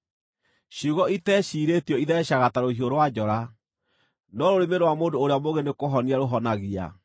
Ciugo iteciirĩtio itheecaga ta rũhiũ rwa njora, no rũrĩmĩ rwa mũndũ ũrĩa mũũgĩ nĩkũhonia rũhonagia.